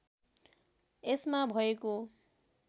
यसमा भएको